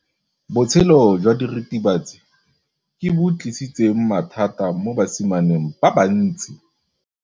Botshelo jwa diritibatsi ke bo tlisitse mathata mo basimaneng ba bantsi.